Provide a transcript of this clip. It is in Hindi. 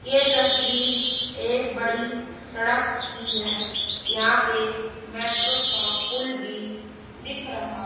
ये तस्वीर एक बड़ी सड़क की है यहां पर मेट्रो का पुल भी दिख रहा--